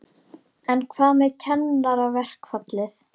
En hvað með kennaraverkfallið?